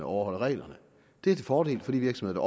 overholder reglerne det er til fordel for de virksomheder